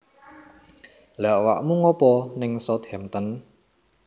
Lha awakmu ngopo ning Southampton?